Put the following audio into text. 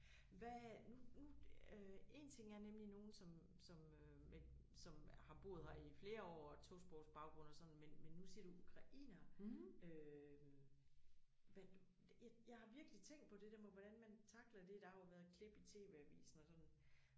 Hvad nu nu øh én ting er nemlig nogen som som øh men som har boet her i flere år og tosprogsbaggrund og sådan men men nu siger du ukrainere øh hvad det jeg har virkelig tænkt på det hvordan man tackler det der har jo været klip i TV avisen og sådan